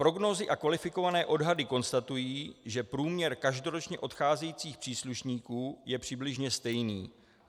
Prognózy a kvalifikované odhady konstatují, že průměr každoročně odcházejících příslušníků je přibližně stejný.